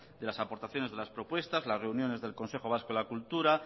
de las aportaciones de las propuestas las reuniones del consejo vasco de la cultura